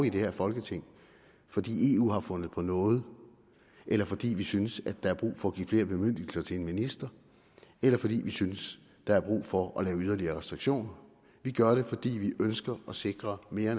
i det her folketing fordi eu har fundet på noget eller fordi vi synes at der er brug for at give flere bemyndigelser til en minister eller fordi vi synes der er brug for at lave yderligere restriktioner vi gør det fordi vi ønsker at sikre mere og